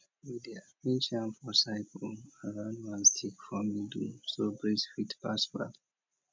we dey arrange yam for circle around one stick for middle so breeze fit pass well